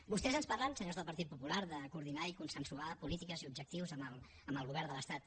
vostès ens parlen senyors del partit popular de coordinar i consensuar polítiques i objectius amb el govern de l’estat